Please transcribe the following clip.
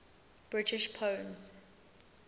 british poems